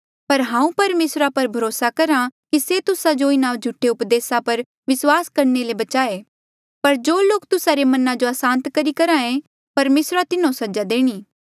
पर हांऊँ परमेसरा पर भरोसा करहा कि से तुस्सा जो इन्हा झूठे उपदेसा पर विस्वास करणे ले बचाणे पर जो लोक तुस्सा रे मना जो असांत करी करहे परमेसरा तिन्हो सजा देणी